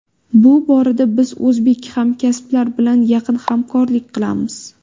Bu borada biz o‘zbek hamkasblar bilan yaqin hamkorlik qilamiz.